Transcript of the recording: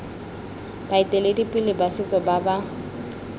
baeteledipele ba setso ba ba